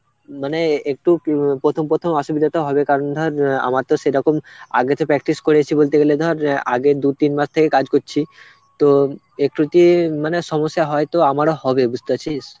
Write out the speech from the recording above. মানে একটু তো প্রথম প্রথম অসুবিধা তো হবে কারণ ধর অ্যাঁ আমার তো সেরকম আগে তো practice করেছি বলতে গেলে ধর অ্যাঁ আগের দু তিন মাস থেকে কাজ করছি তো একটু কি মানে সমস্যা হয়তো আমারও হবে, বুঝতে পারছিস?